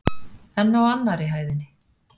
En á annarri hæðinni?